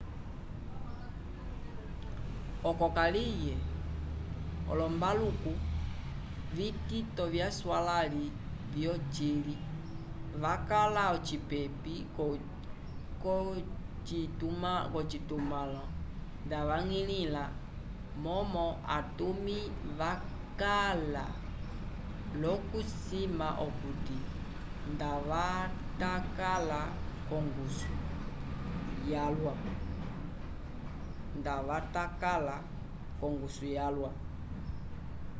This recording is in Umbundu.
oco kaliye olombaluku vitito vyaswalãli vyocili vakala ocipepi l'ocitumãlo ndavañgilĩla momo atumi vakala l'okusima okuti ndavatakala l'ongusu yalwa